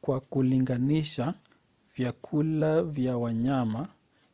kwa kulinganisha vyakula vya wanyama